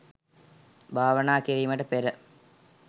භාවනා කිරීමට පෙර